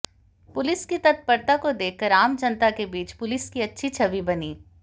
police की तत्परता को देखकर आम जनता के बीच पुलिस की अच्छी छवि बनी